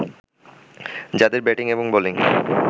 যাদের ব্যাটিং এবং বোলিং